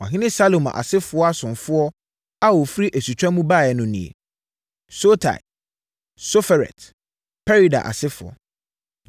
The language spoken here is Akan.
Ɔhene Salomo asefoɔ asomfoɔ a wɔfiri asutwa mu baeɛ no nie: 1 Sotai, Soferet, Perida asefoɔ, 1